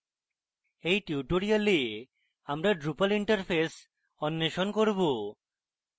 in tutorial আমরা drupal interface অন্বেষণ করব